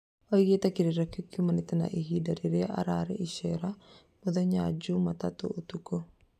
Oĩgĩte gĩkĩro kĩu kĩumanĩte na hĩndĩ ĩrĩa arĩ icera mũthenya juma tatũ ũtukũ